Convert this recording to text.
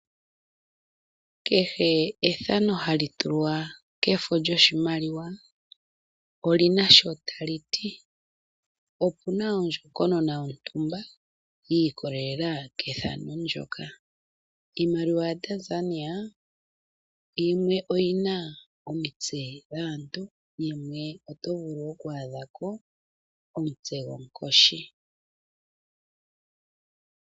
Kehe ethano halitulwa koshimaliwa shefo olina sho taliti, nohapukala ondjokonona yontumba ndjono yiikololela kethano ndyoka. Iimaliwa yaTanzania yimwe oyathaanekwa omutse gwomuntu nayimwe oyina ethano lyomutse gwonkoshi.